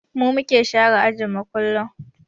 Mu muke share ajinmu kullum